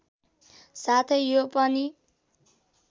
साथै यो पनि